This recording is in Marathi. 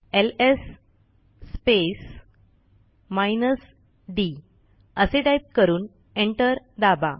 एलएस स्पेस माइनस डी असे टाईप करून एंटर दाबा